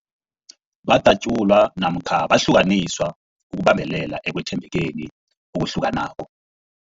Badatjulwa namkha bahlukaniswa ukubambelela ekwethembekeni okuhlukanako.